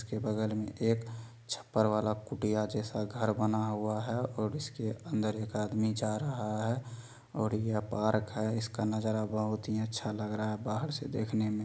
उसके बगल में एक छपर वाला कुट्टीया जैसा घर बना हुआ है और इसके अंदर एक आदमी जा रहा है और यह पार्क है इसका नजारा बहुत ही अच्छा लग रहा है बाहर से देखने में।